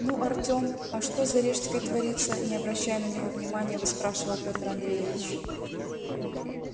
ну артём а что за рижской творится не обращая на него внимания выспрашивал пётр андреевич